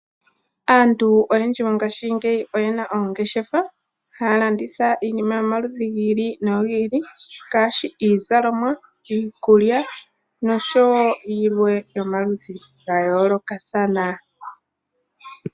Aantu oyendji mongaashingeyi oyena oongeshefa, haya landitha iinima yomaludhi gi ili nogi ili ngaashi iizalomwa, iikulya noshowo yilwe yomaludhi ga yoolokathana.